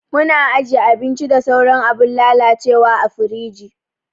Muna ajiye abinci da sauran abun lalacewa a firiji.